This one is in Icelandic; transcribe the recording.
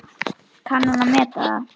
Kann hún að meta það?